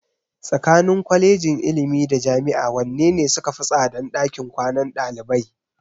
Tsakanin Kwalejin ilimi da Jami'a wanne ne sukafi tsadan ɗakin kwanan ɗalibai?